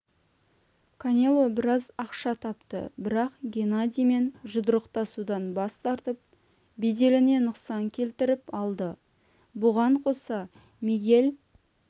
канело біраз ақша тапты бірақ геннадиймен жұдырықтасудан бас тартып беделіне нұқсан келтіріп алды бұған қоса мигель